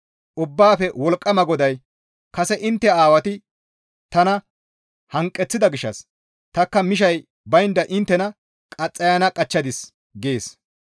Ubbaafe Wolqqama GODAY, «Kase intte aawati tana hanqeththida gishshas tanikka mishay baynda inttena qaxxayana qachchadis» gees.